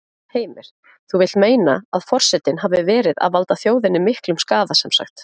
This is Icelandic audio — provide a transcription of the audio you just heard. Heimir: Þú vilt meina að forsetinn hafi verið að valda þjóðinni miklum skaða semsagt?